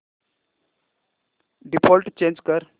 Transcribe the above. default change कर